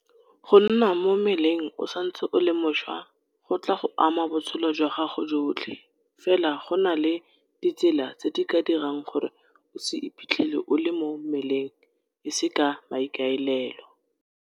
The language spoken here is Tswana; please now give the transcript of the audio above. GO NNA MO MMELENG o santse o le mošwa go tla go ama botshelo jwa gago jotlhe, fela go na le ditsela tse di ka dirang gore o se iphitlhele o le mo mmeleng e se ka maikaelelo.